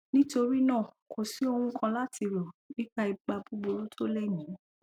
nítorí náà kò sí ohun kan láti rò nípa ipa buburú tó lè ní